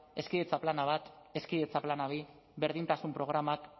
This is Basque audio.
hezkidetza plana batgarren hezkidetza plana bigarren berdintasun programak